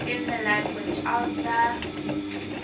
in the language of the